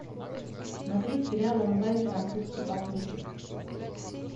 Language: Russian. смотреть сериал онлайн французский попутчик